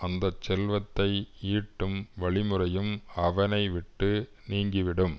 அந்த செல்வத்தை ஈட்டும் வழிமுறையும் அவனைவிட்டு நீங்கிவிடும்